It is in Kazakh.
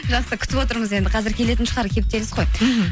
жақсы күтіп отырмыз енді қазір келетін шығар кептеліс қой мхм